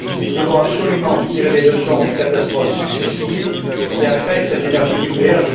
Nous devons absolument tirer les leçons des catastrophes successives qui affectent cette énergie nucléaire.